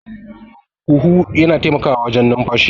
huhu yana taimakawawajwn numfashi